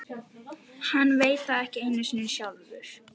Hann veit það ekki einu sinni sjálfur.